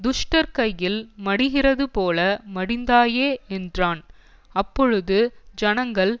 துஷ்டர் கையில் மடிகிறதுபோல மடிந்தாயே என்றான் அப்பொழுது ஜனங்கள்